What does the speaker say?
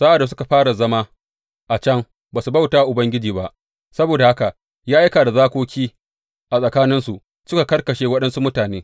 Sa’ad da suka fara zama a can, ba su bauta wa Ubangiji ba; saboda haka ya aika da zakoki a tsakaninsu suka karkashe waɗansu mutane.